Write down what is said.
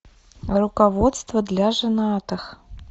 руководство для женатых